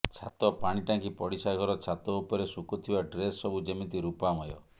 ଛାତ ପାଣି ଟାଙ୍କି ପଡ଼ିଶା ଘର ଛାତ ଉପରେ ଶୁଖୁଥିବା ଡ୍ରେସ ସବୁ ଯେମିତି ରୁପାମୟ